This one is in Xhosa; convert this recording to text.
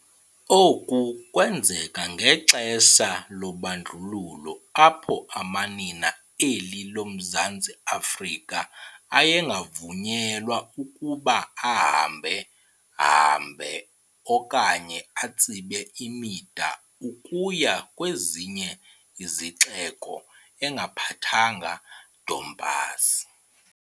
Oku kwenzeka ngexesha lobandlululo apho amanina eli loMzantsi Afrika ayengavunyelwa ukuba ahamba-hambe okanye atsibe imida ukuya kwezinye izixeko engaphethanga Dompasi.